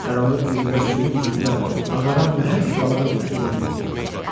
Qaranlıq gecədə suyun üzündə ağaran nəhəng balığın ətini diddilər.